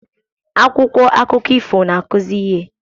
akwụkwọ akụkọ ifo na-akụzi ihe